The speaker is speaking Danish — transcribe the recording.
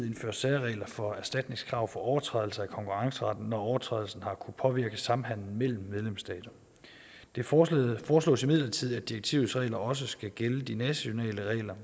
indføre særregler for erstatningskrav for overtrædelse af konkurrenceretten når overtrædelsen har kunnet påvirke samhandelen mellem medlemsstaterne det foreslås foreslås imidlertid at direktivets regler også skal gælde de nationale regler